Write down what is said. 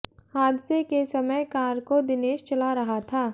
हादसे के समय कार को दिनेश चला रहा था